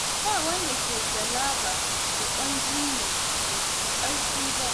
Ba wanda ke galaba da ƙwanji ne mai ƙarfi ba.